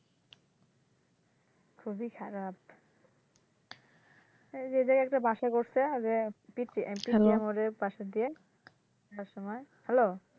খুবই খারাপ এইযে এই জায়গায় একটা বাসা করসে ওইযে পিচ্চি বাসায় দিয়ে আসার সময় হ্যালো